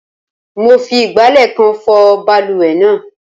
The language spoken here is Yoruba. Mo fi ìgbálẹ̀ kan fọ balùwẹ̀ náà.